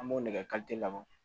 An b'o nɛgɛ labɔ